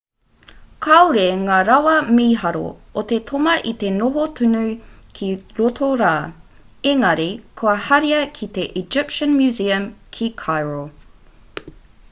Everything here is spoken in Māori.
kāore ngā rawa mīharo o te toma i te noho tonu ki roto rā engari kua haria ki te egyptian museum ki cairo